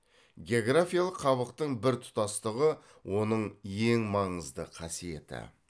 географиялық қабықтың біртұтастығы оның ең маңызды қасиеті